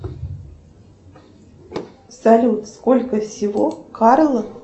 салют сколько всего карл